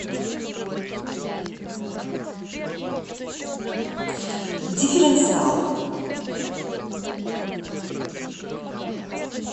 дифференциал